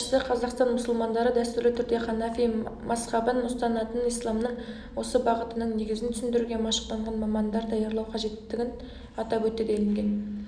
мемлекет басшысы қазақстан мұсылмандары дәстүрлі түрде ханафи мазхабын ұстанатынын исламның осы бағытының негізін түсіндіруге машықтанған мамандар даярлау қажеттігін атап өтті делінген